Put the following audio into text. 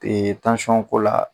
la.